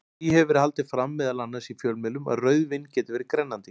Því hefur verið haldið fram, meðal annars í fjölmiðlum, að rauðvín geti verið grennandi.